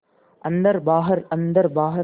अन्दर बाहर अन्दर बाहर